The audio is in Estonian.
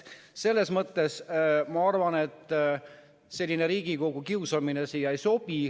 Selles mõttes, ma arvan, selline Riigikogu kiusamine siia ei sobi.